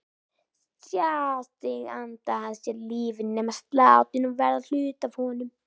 Sjá sig anda að sér lífi, nema sláttinn og verða hluti af honum.